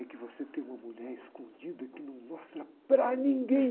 É que você tem uma mulher escondida que não mostra para ninguém.